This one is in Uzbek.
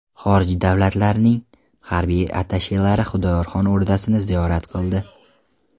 Xorij davlatlarining harbiy attashelari Xudoyorxon o‘rdasini ziyorat qildi .